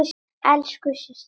Elsku systir.